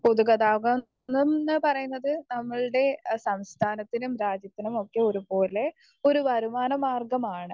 Speaker 1 പൊതുഗതാഗതം എന്ന് പറയുന്നത് നമ്മൾടെ സംസ്ഥാനത്തിനും രാജ്യത്തിനുമൊക്കെ ഒരുപോലെ ഒരു വരുമാനമാർഗ്ഗമാണ്.